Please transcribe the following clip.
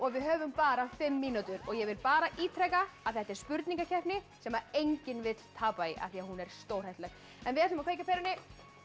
við höfum bara fimm mínútur ég vil bara ítreka að þetta er spurningakeppni sem enginn vill tapa í því hún er stórhættuleg við ætlum að kveikja á perunni